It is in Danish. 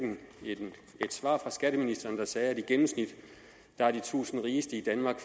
et svar fra skatteministeren der sagde at i gennemsnit har de tusind rigeste i danmark